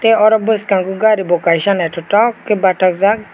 oro bwskango gari bo kaisa naithotok khe bathajak.